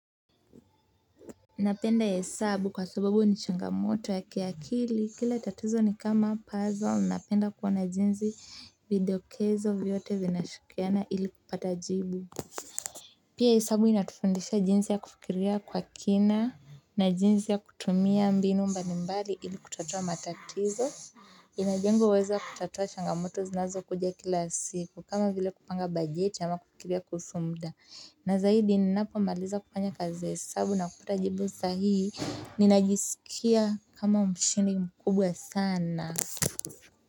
Napenda hesabu kwa sababu ni changamoto ya kiakili, kila tatizo ni kama puzzle. Napenda kuona jinsi vidokezo vyote vinavyoshikamana ili kupata jibu. Pia hesabu inatufundisha jinsi ya kufikiria kwa kina na jinsi ya kutumia mbinu mbalimbali ili kutatua matatizo. Inajenga uwezo wa kutatua changamoto zinazokuja kila siku kama vile kupanga bajeti ama kufikiria kuhusu muda. Na zaidi ninapomaliza kufanya kazi ya hesabu na kupata jibu sahihi, ninajisikia kama mshindi mkubwa sana.